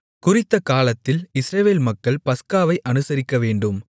குறித்த காலத்தில் இஸ்ரவேல் மக்கள் பஸ்காவை அனுசரிக்கவேண்டும்